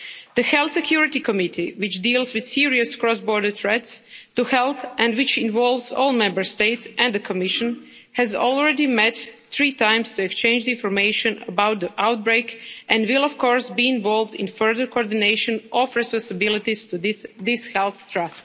The Health Security Committee, which deals with serious cross-border threats to health and which involves all Member States and the Commission, has already met three times to exchange information about the outbreak and will of course be involved in the further coordination of the response to this health threat.